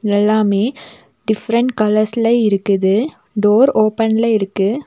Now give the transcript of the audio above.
எல்லாமே டிஃப்ரென்ட் கலர்ஸ்ல இருக்குது டோர் ஓபன்ல இருக்கு.